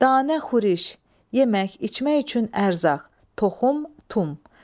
Danə Xuriş, yemək, içmək üçün ərzaq, toxum, tum.